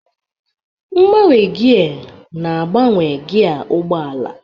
Mgbanwe gia na-agbanwe gia ụgbọ ala.